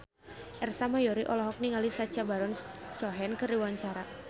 Ersa Mayori olohok ningali Sacha Baron Cohen keur diwawancara